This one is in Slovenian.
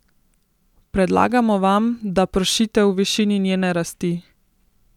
Predlagamo vam, da pršite v višini njene rasti.